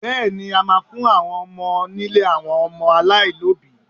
Bẹ́ẹ̀ni, a máa fún àwọn ọmọ nílé àwọn ọmọ aláìlóbìí.